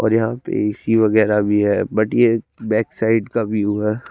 और यहा पे ए_सी वगेरा भी है बट ये बेक साइड का व्यू है।